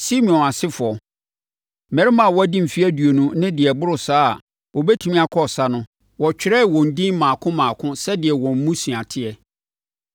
Simeon asefoɔ: Mmarima a wɔadi mfeɛ aduonu ne deɛ ɛboro saa a wɔbɛtumi akɔ ɔsa no, wɔtwerɛɛ wɔn edin mmaako mmaako sɛdeɛ wɔn mmusua teɛ.